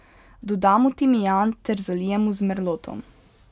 Dodamo timijan ter zalijemo z merlotom.